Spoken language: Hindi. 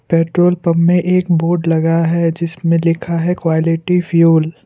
पेट्रोल पंप में एक बोर्ड लगा है जिसमें लिखा है क्वालिटी फ्यूल ।